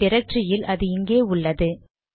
என் டிரக்டரியில் அது இங்கே உள்ளது